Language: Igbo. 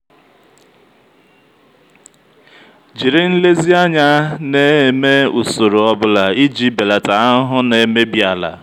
jiri nlezianya na-eme usoro ọ bụla iji belata ahụhụ na-emebi ala.